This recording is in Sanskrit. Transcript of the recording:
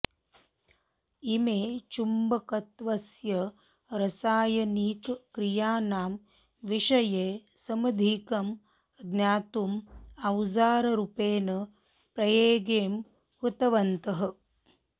इमे चुम्बकत्वस्य रसायनिकक्रियाणां विषये समधिकं ज्ञातुं औजाररूपेण प्रयेगं कृतवन्तः